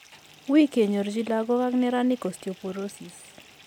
Uui kenyorchi lagok ag neranik Osteoporosis